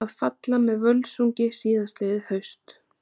Að falla með Völsungi síðastliðið haust.